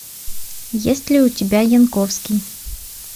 есть ли у тебя янковский